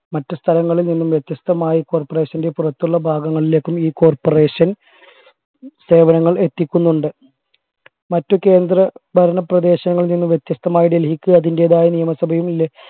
മറ്റ് സ്ഥലങ്ങളിൽ നിന്നും വ്യത്യസ്തമായി corporation ന്റെ പുറത്തുള്ള ഭാഗങ്ങളിലേക്കും ഈ corporation സേവനങ്ങൾ എത്തിക്കുന്നുണ്ട് മറ്റു കേന്ദ്രഭരണ പ്രദേശങ്ങളിൽ നിന്ന് വ്യത്യസ്തമായ ഡൽഹിക്ക് അതിൻറെതായ നിയമസഭയും